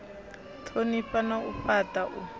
thonifha na u fhata u